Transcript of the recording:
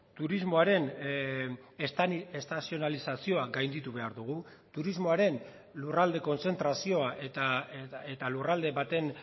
turismoaren estazionalizazioa gainditu behar dugu turismoaren lurralde kontzentrazioa eta lurralde baten